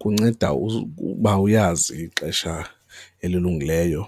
Kunceda ukuba uyazi ixesha elilungileyo